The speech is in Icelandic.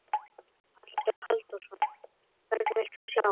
Halldór Halldórsson: Hvern vilt þú sjá?